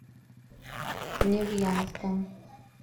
невьянском